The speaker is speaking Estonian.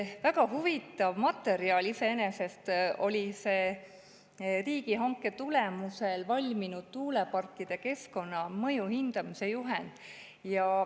Väga huvitav materjal iseenesest oli see riigihanke tulemusel valminud tuuleparkide keskkonnamõju hindamise juhend.